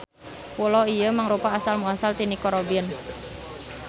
Pulo ieu mangrupa asal muasal ti Nico Robin.